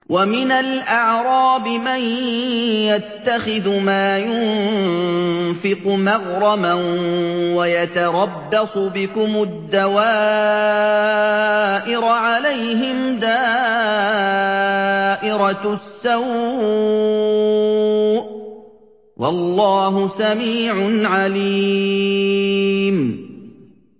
وَمِنَ الْأَعْرَابِ مَن يَتَّخِذُ مَا يُنفِقُ مَغْرَمًا وَيَتَرَبَّصُ بِكُمُ الدَّوَائِرَ ۚ عَلَيْهِمْ دَائِرَةُ السَّوْءِ ۗ وَاللَّهُ سَمِيعٌ عَلِيمٌ